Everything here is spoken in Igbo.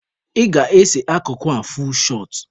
Ị ga-ese akụkụ a, fuul shọt!